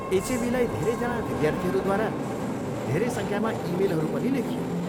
एचएबीलाई धेरैजना विद्यार्थीहरूद्वारा धेरै सङ्ख्यामा इमेलहरू पनि लेखियो।